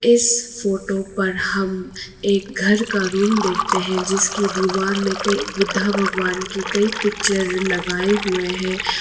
इस फोटो पर हम एक घर का रूम देखते हैं जिसकी दीवार में कई बुद्धा भगवान की कई पिक्चर लगाए हुए हैं।